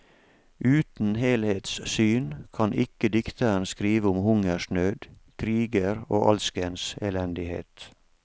Uten helhetssyn kan ikke dikteren skrive om hungersnød, kriger og alskens elendighet.